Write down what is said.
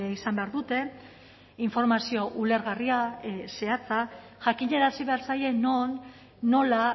izan behar dute informazio ulergarria zehatza jakinarazi behar zaie non nola